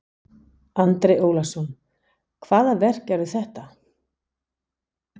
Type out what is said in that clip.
Andri Ólafsson: Hvaða verk eru það?